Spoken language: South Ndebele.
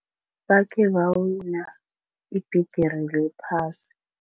Bakhe bawina ibhigiri yephasi.